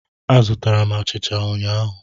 Azụtara m achicha ụnyahụ.